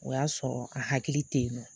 O y'a sɔrɔ a hakili tɛ ye nɔ.